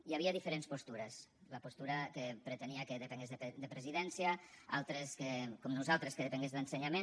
hi havia diferents postures la postura que pretenia que depengués de presidència altres com nosaltres que depengués d’ensenyament